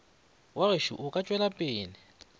wa gešo o ka tšwelapele